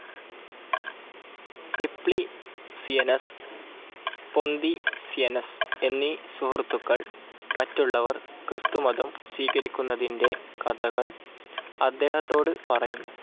Simplicianus, Ponticianus എന്നീ സുഹൃത്തുക്കൾ, മറ്റുള്ളവർ ക്രിസ്തുമതം സ്വീകരിക്കുന്നതിൻ്റെ കഥകൾ അദ്ദേഹത്തോട് പറയുന്നു.